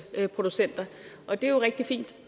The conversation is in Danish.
producenter det er jo rigtig fint